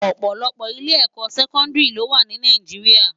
Òpòlòpò ilé èkò sèkòndiri ló wá ni Náijiriá